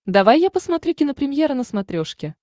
давай я посмотрю кинопремьера на смотрешке